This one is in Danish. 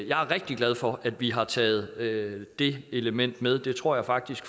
jeg er rigtig glad for at vi har taget det element med det tror jeg faktisk